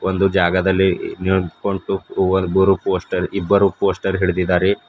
ಒಂದು ಜಾಗದಲ್ಲಿ ಪೋಸ್ಟರ್ ಇಬ್ಬರು ಪೋಸ್ಟರ್ ಹಿಡಿದಿದ್ದಾರೆ.